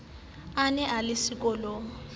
a ne a le sekolong